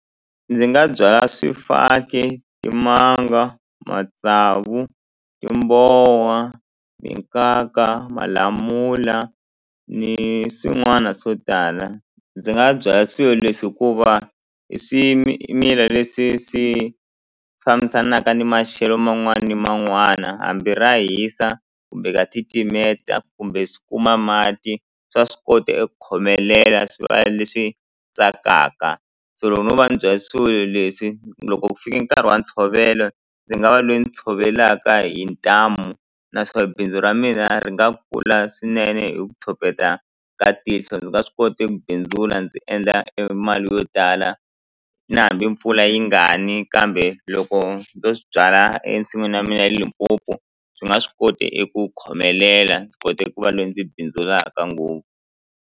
Ndzi nga byala swifaki timanga matsavu timbowa minkaka malamula ni swin'wana swo tala ndzi nga byala swilo leswi hikuva i leswi swi fambisanaka ni maxelo man'wana ni man'wana hambi ra hisa kumbe ka titimeta kumbe swi kuma mati swa swi kota eku khomelela swi va leswi tsakaka so loko no va ni byale swilo leswi loko ku fike nkarhi wa ntshovelo ndzi nga va loyi ni tshovelaka hi ntamu n aswo bindzu ra mina ri nga kula swinene hi ku tshopeta ka tihlo ndzi nga swi kota eku bindzula ndzi endla e mali yo tala na hambi mpfula yi nga ni kambe loko ndzo swi byala ensin'wini ya mina Limpopo swi nga swi kote eku khomelela ndzi kote ku va loyi ndzi bindzulaka ngopfu.